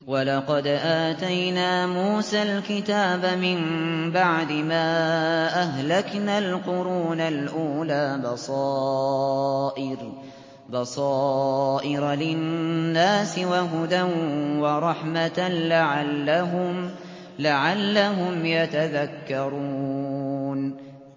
وَلَقَدْ آتَيْنَا مُوسَى الْكِتَابَ مِن بَعْدِ مَا أَهْلَكْنَا الْقُرُونَ الْأُولَىٰ بَصَائِرَ لِلنَّاسِ وَهُدًى وَرَحْمَةً لَّعَلَّهُمْ يَتَذَكَّرُونَ